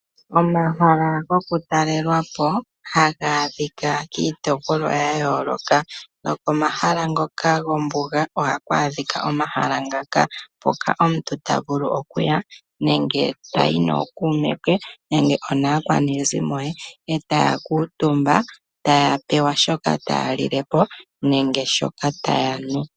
Omahala gokutalelwa po haga a dhika kiitopolwa ya yoloka , nokomahala ngoka gombuga ohaku adhika omahala ngaka mpoka omuntu ta vulu okuya nenge tayi pamwe nookume nenge aakwanezimo e taya kuutumba e ta ya pewa shoka taya lile po nenge shoka taya nu.